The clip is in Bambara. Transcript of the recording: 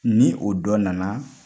Ni o dɔ nana